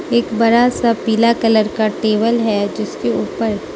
एक बड़ा सा पीला कलर का टेबल है जिसके ऊपर --